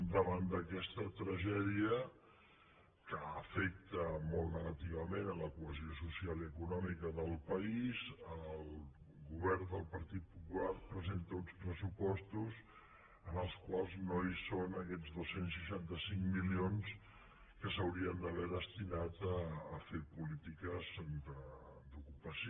davant d’aquesta tragèdia que afecta molt negativament la cohesió social i econòmica del país el govern del partit popular presenta uns pressupostos en els quals no hi són aquests dos cents i seixanta cinc milions que s’haurien d’haver destinat a fer polítiques d’ocupació